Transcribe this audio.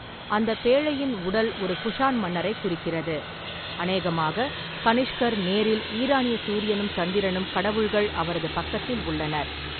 அந்தப் பேழையின் உடல் ஒரு குஷான் மன்னரைக் குறிக்கிறது, அநேகமாக கனிஷ்கர் நேரில், ஈரானிய சூரியனும் சந்திரனும் கடவுள்கள் அவரது பக்கத்தில் உள்ளனர்.